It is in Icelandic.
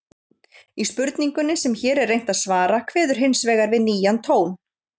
Í spurningunni sem hér er reynt að svara kveður hins vegar við nýjan tón.